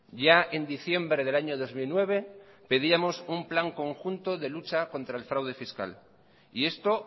ya en diciembre del año dos mil nueve pedíamos un plan conjunto de lucha contra el fraude fiscal y esto